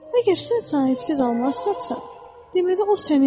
Əgər sən sahibsiz almaz tapsan, deməli o sənindir.